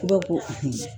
ko